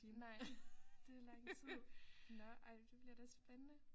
Nej det er lang tid nåh ej det bliver da spændende